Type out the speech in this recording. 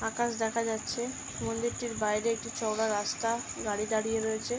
আকাশ দেখা যাচ্ছে মন্দিরটির বাইরে একটি চওড়া রাস্তা গাড়ি দাঁড়িয়ে রয়েছে ।